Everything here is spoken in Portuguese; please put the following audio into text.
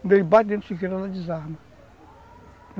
Quando ele bate dentro de você, ela desarma.